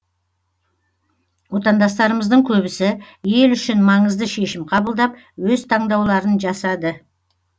отандастарымыздың көбісі ел үшін маңызды шешім қабылдап өз таңдауларын жасады